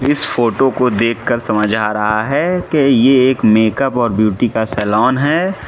इस फोटो को देखकर समझ आ रहा है कि एक मेकअप और ब्यूटी का सालोन है।